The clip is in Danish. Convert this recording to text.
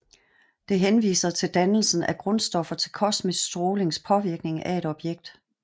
Det henviser til dannelsen af grundstoffer fra kosmisk strålings påvirkning af et objekt